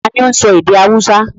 Ta ni óún sọ èdè haúsá?